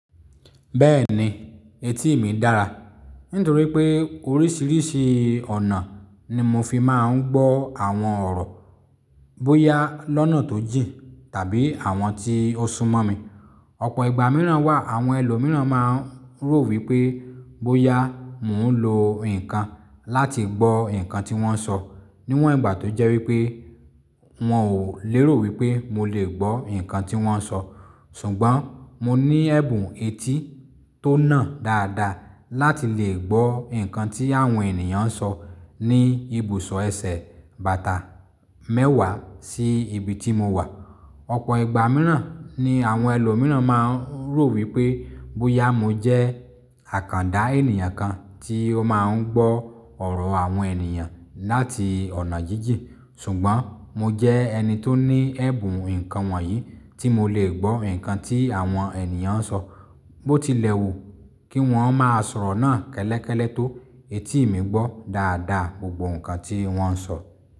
Bẹ́ẹ̀ni, etí mi dára. Nítorí pé orísìírísìí ọ̀nà ni mo fi máa ń gbọ́ àwọn ọ̀rọ̀ bóyá lọ́nà tó jìn tàbí àwọn tí ó sunmọ́ mi. Ọ̀pọ̀ ìgbà mìíràn wà, àwọn ẹlòmíràn máa ń rò wípé bóyá mò ń lo nǹkan láti gbọ́ nǹkan tí wón ń sọ, níwọ̀n ìgbà tó jẹ́ wípé wọn ò lérò wípé mo lè gbọ́ nǹkan tí wón ń sọ. Ṣùgbọ́n mo ní ẹ̀bùn etí tó nà dáadáa láti lè gbọ́ nǹkan tí àwọn ènìyàn ń sọ ní ibùsọ̀ ẹsẹ̀ bàtà mẹ́wàá sí ibi tí mo wà. Ọ̀pọ̀ ìgbà mìíràn ni àwọn ẹlòmíràn máa ń rò wípé bóyá mo jẹ́ àkàndá ènìyàn kan tí ó máa ń gbọ́ ọ̀rọ̀ àwọn ènìyàn láti ọ̀nà jíjìn. Ṣùgbọ́n mo jẹ́ ẹni tó ní ẹ̀bùn nǹkan wọ̀nyí tí mo lè gbọ́ nǹkan tí àwọn ènìyàn ń sọ. Bó tilẹ̀ wù kí wọ́n máa sọ̀rọ̀ náà kẹ́lẹ́kẹ́lẹ́ tó, etí ì mi gbọ́ dáadáa gbogbo nǹkan tí wọ́n ń sọ.